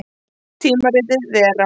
Tímaritið Vera.